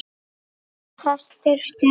En þess þyrfti ekki.